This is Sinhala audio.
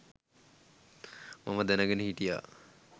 මම දැනගෙන හිටියා.